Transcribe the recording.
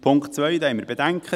Bei Punkt 2 haben wir Bedenken.